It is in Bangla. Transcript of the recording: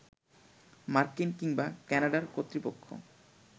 মার্কিন কিংবা ক্যানাডার কর্তৃপক্ষ